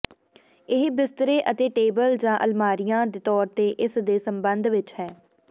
ਇਹ ਬਿਸਤਰੇ ਅਤੇ ਟੇਬਲ ਜ ਅਲਮਾਰੀਆ ਦੇ ਤੌਰ ਤੇ ਇਸ ਦੇ ਸੰਬੰਧ ਵਿੱਚ ਹੈ